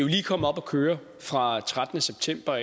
lige kommet op at køre fra trettende september